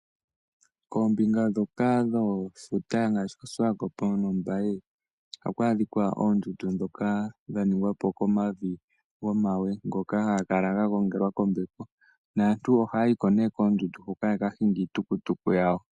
Koombinga ndhoka dhefuta ngaashi ko Swakop nokombaye ohaku adhika oondundu ndhoka dha ningwapo komavi gomawe ngoka haga kala ga gongelwa kombepo naantu oha yayiko nee koondundu huka ya ka hinge iitukutuku yawo